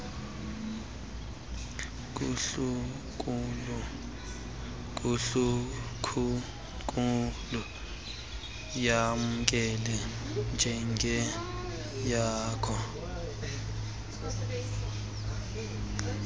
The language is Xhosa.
kundlunkulu yamkele njengeyakho